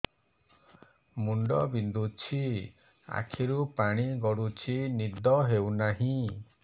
ମୁଣ୍ଡ ବିନ୍ଧୁଛି ଆଖିରୁ ପାଣି ଗଡୁଛି ନିଦ ହେଉନାହିଁ